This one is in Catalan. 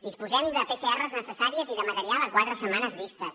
disposem de les pcrs necessàries i de material a quatre setmanes vistes